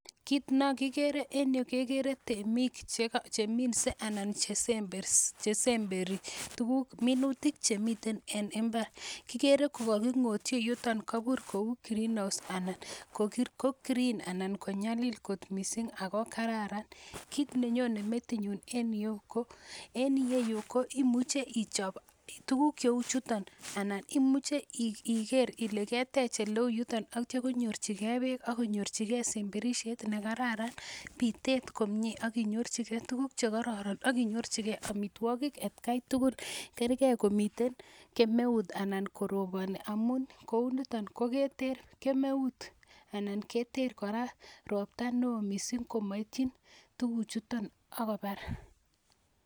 Kiit nekikere en yuu kekere temiik cheminse anan chesemberi tukuk minutik chemiten en mbar, kikere ko kokingotyi yuton kobur kouu green house anan ko green anan konyalil kot mising ak ko kararan, kiit nenyone metinyun en iyeu ko en iyeyu imuche ichop tukuk chheuu chuton anan imuche iker ilee ketech eleeu yuton akitio konyorchike beek ak konyorchike semberishet nekararan bitet komnye ak inyorchike tukuk chekororon ak inyorchike amitwokik atkai tukul kerkee komiten kemeut anan koroboni amun kouniton koketer kemeut anan keter kora robta neoo mising komoityin tukuchuton ak kobar.